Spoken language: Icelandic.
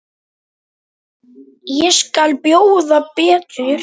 Ég skal bjóða betur.